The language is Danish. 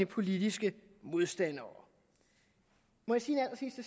politiske modstandere må